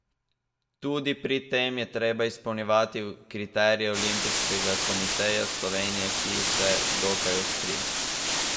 Tudi pri tem je treba izpolnjevati kriterije Olimpijskega komiteja Slovenije, ki so dokaj ostri.